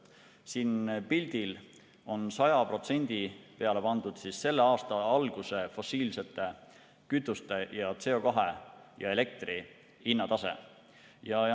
Siin pildil on 100% peale pandud selle aasta alguse fossiilsete kütuste, CO2 ja elektri hinnatase.